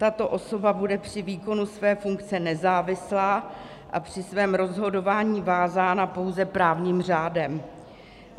Tato osoba bude při výkonu své funkce nezávislá a při svém rozhodování vázaná pouze právním řádem.